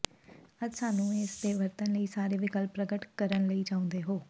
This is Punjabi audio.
ਅੱਜ ਸਾਨੂੰ ਇਸ ਦੇ ਵਰਤਣ ਲਈ ਸਾਰੇ ਵਿਕਲਪ ਪ੍ਰਗਟ ਕਰਨ ਲਈ ਚਾਹੁੰਦੇ ਹੋ